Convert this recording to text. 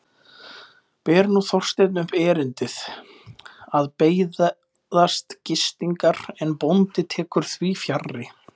Ber nú Þorsteinn upp erindið, að beiðast gistingar, en bóndi tekur því fjarri.